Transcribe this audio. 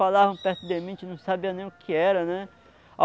Falavam perto de mim, a gente não sabia nem o que era, né?